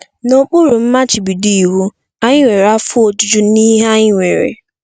N'okpuru mmachibido iwu, anyị nwere afọ ojuju n'ihe anyị nwere.